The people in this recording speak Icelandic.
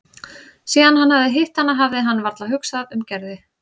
Síðan hann hafði hitt hana hafði hann varla hugsað um Gerði.